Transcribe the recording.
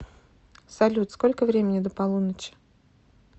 салют сколько времени до полуночи